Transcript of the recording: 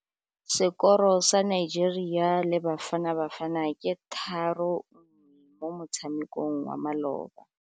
Sekôrô sa Nigeria le Bafanabafana ke 3-1 mo motshamekong wa malôba.